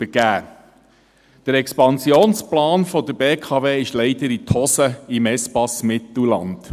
Der Expansionsplan der BKW ging im Espace Mittelland leider in die Hose.